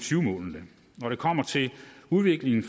tyve målene når det kommer til udviklingen